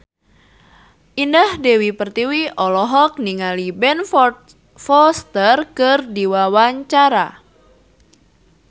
Indah Dewi Pertiwi olohok ningali Ben Foster keur diwawancara